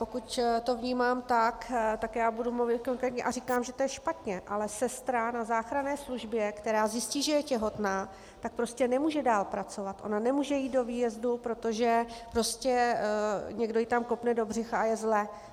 Pokud to vnímám tak, tak já budu mluvit konkrétně a říkám, že to je špatně, ale sestra na záchranné službě, která zjistí, že je těhotná, tak prostě nemůže dále pracovat, ona nemůže jít do výjezdu, protože prostě někdo ji tam kopne do břicha a je zle.